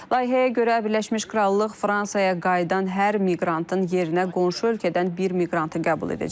Layihəyə görə Birləşmiş Krallıq Fransaya qayıdan hər miqrantın yerinə qonşu ölkədən bir miqrantı qəbul edəcək.